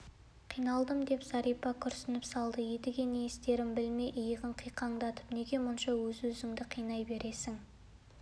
қиналдым деп зәрипа күрсініп салды едіге не істерін білмей иығын қиқаңдатты неге мұнша өзіңді-өзің қинай бересің